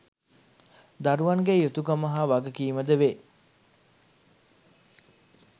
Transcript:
දරුවන් ගේ යුතුකම හා වගකීමද වේ.